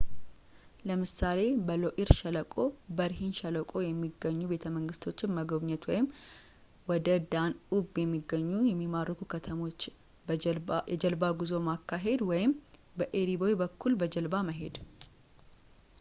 ለምሳሌ በሎኢር ሸለቆ በርሂን ሸለቆ የሚገኙ ቤተ መንግሥቶችን መጎብኘት ወይም ወደ በዳንዑብ የሚገኙ የሚማርኩ ከተሞች የጀልባ ጉዞ ማካሄድ ወይም በኤሪ ቦይ በኩል በጀልባ መሄድ